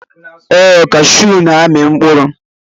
Ee, cashew n'ami mkpụrụ.